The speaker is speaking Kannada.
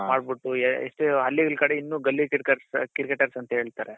ಮಾಡ್ಬಿಟ್ಟು ಹಳ್ಳಿಗಳ ಕಡೆ ಇನ್ನೂ ಗಲ್ಲಿ cricketer's ಅಂತ ಹೇಳ್ತಾರೆ